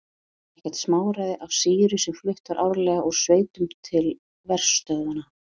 Var það ekkert smáræði af sýru sem flutt var árlega úr sveitum til verstöðvanna.